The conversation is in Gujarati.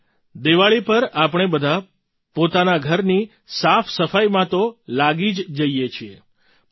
અત્યારે દિવાળી પર આપણે બધાં પોતાના ઘરની સાફસફાઈમાં તો લાગી જ જઈએ છીએ